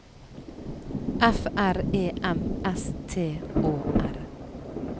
F R E M S T Å R